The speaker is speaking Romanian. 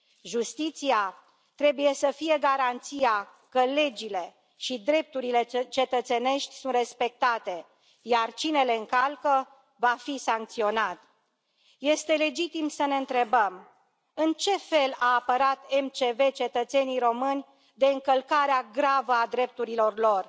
Justiția trebuie să fie garanția că legile și drepturile cetățenești sunt respectate, iar cine le încalcă va fi sancționat. Este legitim să ne întrebăm în ce fel a apărat MCV cetățenii români de încălcarea gravă a drepturilor lor?